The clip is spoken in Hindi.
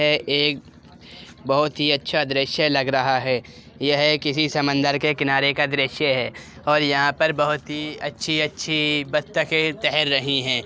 ये एक बहुत ही अच्छा दृश्य लग रहा है। यह किसी समन्दर के किनारे का दृश्य है और यहाँ पर बहुत ही अच्छी-अच्छी बत्तखें तैर रही हैं।